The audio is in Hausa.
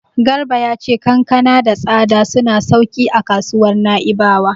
Garba ya ce kankana da tsada suna sauƙin a kasuwar Na'ibawa.